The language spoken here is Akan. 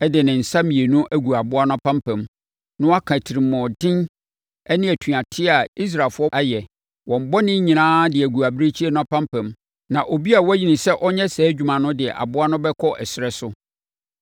de ne nsa mmienu agu aboa no apampam, na waka atirimuɔden ne atuateɛ a Israelfoɔ ayɛ, wɔn bɔne nyinaa de agu abirekyie no apampam, na obi a wɔayi no sɛ ɔnyɛ saa adwuma no de aboa no bɛkɔ ɛserɛ so.